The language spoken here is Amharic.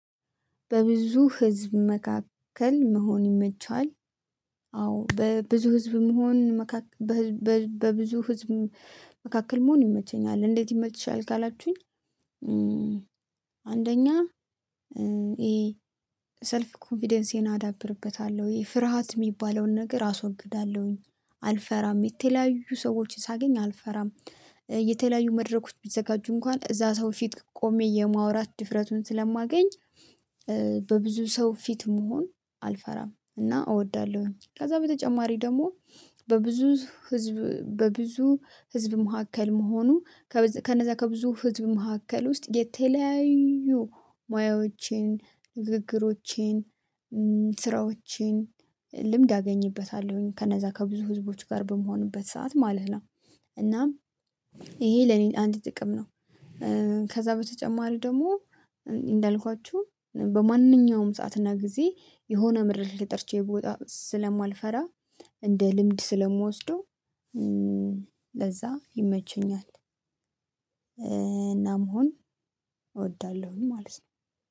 በብዙ ህዝብ መካከል መሆን ይመቻል? አዎ በብዙ ህዝብ መሆን። በብዙ ህዝብ መካከል መሆን ይመቸኛል። እንዴት ይመችሻል ካላችሁኝ? አንደኛ ይሄ ሰልፍ ኮንፊደንሴን አዳብርበታለሁ ይሄ ፍርሃት የሚባለውን ነገር አስወግዳለሁኝ አልፈራም የተለያዩ ሰዎችን ሳገኝ አልፈራም የተለያዩ መድረኮች ቢዘጋጁ እንኳን እዛ ሰው ፊት ቆሜ የማውራት ድፍረቱን ስለማገኝ። በብዙ ሰው ፊት መሆን አልፈራም እና እወዳለሁኝ። ከዛ በተጨማሪ ደግሞ በብዙ ህዝብ በብዙ ህዝብ መሃከል መሆኑ ከነዛ ከብዙ ህዝብ መካከል ውስጥ የተለያዩ ሙያዎቼን ንግግሮቼን ስራዎቼን ልምድ አገኝበታለሁኝ። ከነዛ ከብዙ ህዝቦች ጋር በምሆንበት ሰዓት ማለት ነው። እናም ይሄ ለኔ አንድ ጥቅም ነው። ከዛ በተጨማሪ ደግሞ እንዳልኳችሁ በማንኛውም ሰዓት እና ጊዜ የሆነ መድረክ ላይ ተጠርቼ ብወጣ ስለማልፈራ እንደ ልምድ ስለምወስደው ለዛ ይመቸኛል። እና መሆን እወዳለሁኝ ማለት ነው